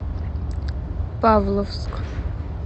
павловск